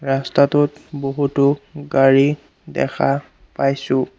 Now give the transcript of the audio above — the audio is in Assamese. ৰাস্তাটোত বহুতো গাড়ী দেখা পাইছোঁ।